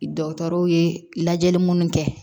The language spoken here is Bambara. Dɔgɔtɔrɔw ye lajɛli minnu kɛ